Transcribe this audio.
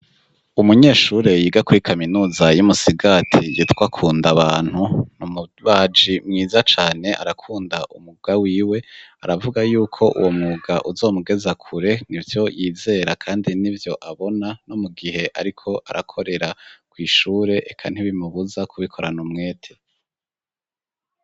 Umunyeshure yiga kuri kaminuza y'Imusigati yitwa kundabantu, ni umubaji mwiza cane, arakunda umwuga wiwe, aravuga yuko uwo mwuga uzomugeza kure, nivyo yizera kandi nivyo abona no mu gihe ariko arakorera kw'ishure, eka ntibimubuza kubikorana umwete.